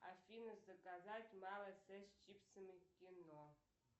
афина заказать малый сет с чипсами к кино